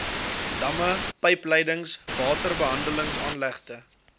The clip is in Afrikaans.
damme pypleidings waterbehandelingsaanlegte